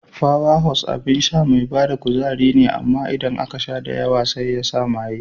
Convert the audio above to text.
Power Horse abin sha mai bada kuzari ne amma idan aka sha da yawa sai yasa maye.